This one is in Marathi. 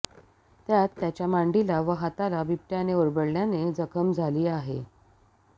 त्यात त्याच्या मांडीला व हाताला बिबट्याने ओरबडल्याने जखम झाली आहे